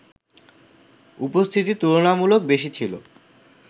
উপস্থিতি তুলনামূলক বেশি ছিল